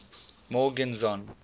morgenzon